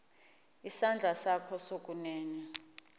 isandla sakho sokunene